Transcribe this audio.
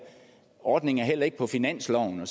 ordningen er heller ikke på finansloven